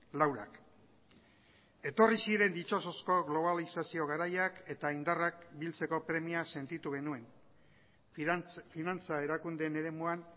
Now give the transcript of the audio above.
laurak etorri ziren ditsosozko globalizazio garaiak eta indarrak biltzeko premia sentitu genuen finantza erakundeen eremuan